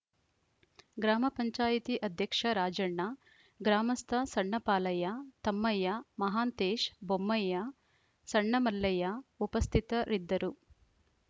ಗ್ರಾಮ ಪಂಚಾಯತ್ ಅಧ್ಯಕ್ಷ ರಾಜಣ್ಣ ಗ್ರಾಮಸ್ಥ ಸಣ್ಣಪಾಲಯ್ಯ ತಮ್ಮಯ್ಯ ಮಹಾಂತೇಶ್‌ ಬೊಮ್ಮಯ್ಯ ಸಣ್ಣಮಲ್ಲಯ್ಯ ಉಪಸ್ಥಿತರಿದ್ದರು